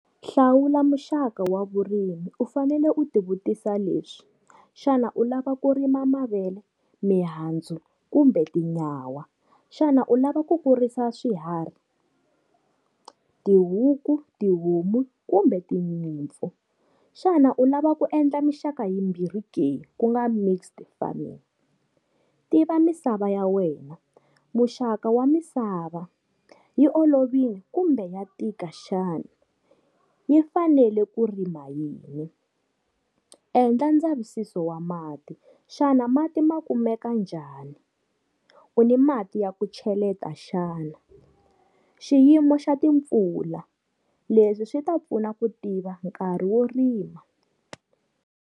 Hlawula muxaka wa vurimu u fanele u ti vutisa leswi, xana u lava ku rima mavele mihandzu kumbe tinyawa? Xana u lava ku kurisa swiharhi, tihuku, tihomu kumbe tinyimpfu? Xana u lava ku endla mixaka yimbirhi ke ku nga mixed farming? Tiva misava ya wena, muxaka wa misava yi olovini kumbe wa tika xana? Yi fanele ku rima yini? Endla ndzavisiso wa mati, xana mati ma kumeka njhani? U ni mati ya ku cheleta xana? Xiyimo xa timpfula, leswi swi ta pfuna ku tiva nkarhi wo rima.